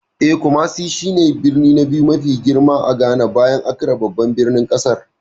Eh, Kumasi shi ne birni na biyu mafi girma a Ghana, bayan Accra babban birnin kasar.